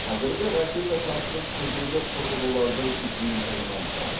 қазіргі ракета тасығыш күрделі құрылғылардың жиынтығынан тұрады